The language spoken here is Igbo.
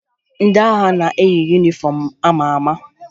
Ndị agha na-eyi yunifọmụ a ma ama